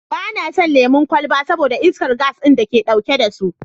Ba na son lemon kwalba saboda iskar gas ɗin da ke ɗauke da su.